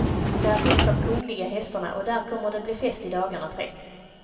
Där finns de kungliga hästarna och där kommer det bli fest i dagarna tre.